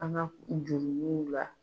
An ka jurumuw la